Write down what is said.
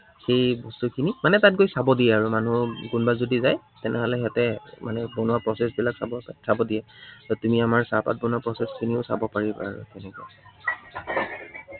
সেই বস্তুখিনি মানে তাত গৈ চাব দিয়ে আৰু। মানুহৰ কোনোবা যদি যায়, তেনেহলে সিহঁতে মানে বনোৱা process বিলাক চাব চাব দিয়ে তাত। ত তুমি আমাৰ চাহপাত বনোৱা process খিনিও চাব পাৰিবা আৰু।